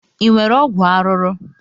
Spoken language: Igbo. Ị nwere ọgwụ arụrụ?